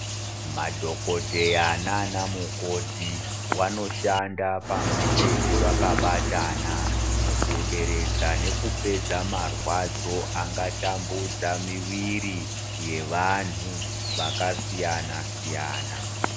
Madhokoteya nanamukoti vanoshanda pamwe chete vakabatana mukuderedza nekupedza marwadzo anga tambudza miviri yevanhu vakasiyana siyana.